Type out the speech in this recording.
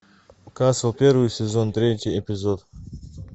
касл первый сезон третий эпизод